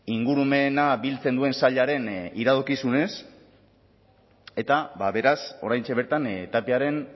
ingurumena biltzen duen sailaren iradokizunez eta beraz oraintxe bertan tapiaren